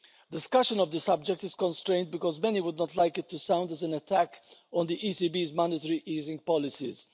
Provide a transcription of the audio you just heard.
Discussion of the subject is constrained because many would not like it to sound as an attack on the ECB's monetary easing policies.